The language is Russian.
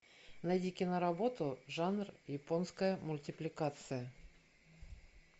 найди киноработу жанр японская мультипликация